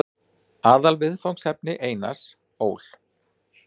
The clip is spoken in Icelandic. Aðalviðfangsefni Einars Ól.